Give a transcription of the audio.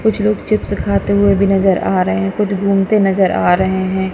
कुछ लोग चिप्स खाते हुए भी नजर आ रहे हैं कुछ घूमते नजर आ रहे हैं।